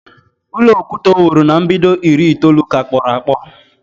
Ulọ okwute o wuru na mbido iri itoolu ka kporo akpo